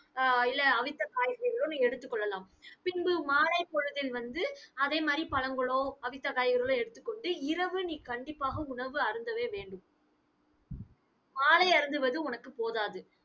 ஆஹ் இல்லை அவித்த காய்கறிகளோ நீங்க எடுத்துக் கொள்ளலாம். பின்பு மாலைப் பொழுதில் வந்து அதே மாதிரி பழங்களோ அவித்த காய்கறிகளோ எடுத்துக் கொண்டு இரவு நீ கண்டிப்பாக உணவு அருந்தவே வேண்டும் மாலை அருந்துவது உனக்கு போதாது